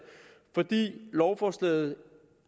lovforslaget